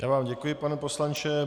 Já vám děkuji, pane poslanče.